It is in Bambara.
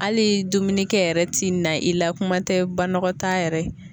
Hali dumunikɛ yɛrɛ ti na i la kuma tɛ banagɔtaa yɛrɛ